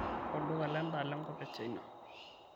olduka le daa lenkop e china